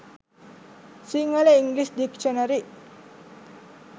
sinhala english dictionary